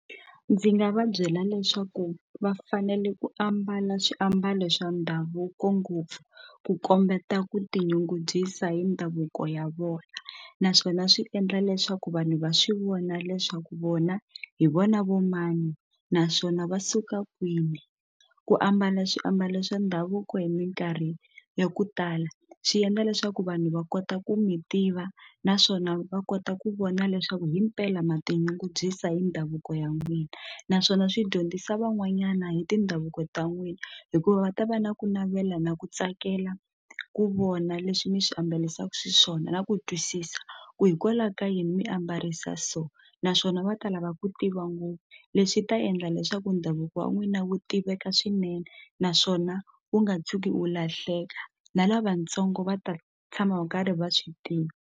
Ndzi nga va byela leswaku va fanele ku ambala swiambalo swa ndhavuko ngopfu ku kombeta ku tinyungubyisa hi ndhavuko ya vona naswona swi endla leswaku vanhu va swi vona leswaku vona hi vona vo mani naswona va suka kwini ku ambala swiambalo swa ndhavuko hi minkarhi ya ku tala swi endla leswaku vanhu va kota ku mi tiva naswona va kota ku vona leswaku himpela ma tinyungubyisa hi ndhavuko ya n'wina naswona swi dyondzisa van'wanyana hi tindhavuko ta n'wina hikuva va ta va na ku navela na ku tsakela ku vona leswi mi swi ambalaka xiswona na ku twisisa ku hikwalaho ka yini mi a mbarisa so so naswona va ta lava ku tiva ngopfu leswi ta endla leswaku ndhavuko wa n'wina wu tiveka swinene naswona wu nga tshuki wu lahleka na lavatsongo va ta tshama va karhi va swi tivi.